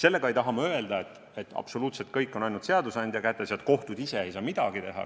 Sellega ei taha ma öelda, et absoluutselt kõik on seadusandja kätes ja kohtud ise ei saa midagi teha.